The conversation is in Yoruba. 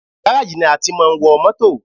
Gáràjì ni a tí máa ń wọ mótò.